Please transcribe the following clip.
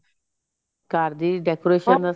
ਘਰ ਦੇ ਵਿੱਚ decoration ਦਾ ਸਮਾਨ